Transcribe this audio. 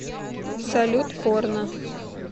салют порно